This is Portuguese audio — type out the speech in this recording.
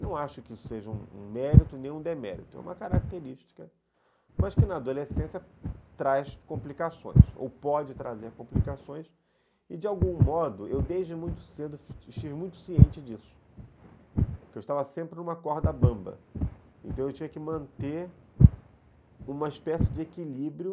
Não acho que isso seja um um mérito nem um demérito, é uma característica, mas que na adolescência traz complicações, ou pode trazer complicações, e de algum modo eu desde muito cedo estive muito ciente disso, que eu estava sempre numa corda bamba, então eu tinha que manter uma espécie de equilíbrio